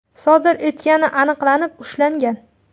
sodir etgani aniqlanib, ushlangan.